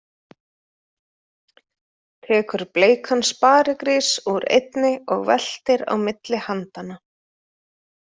Tekur bleikan sparigrís úr einni og veltir á milli handanna.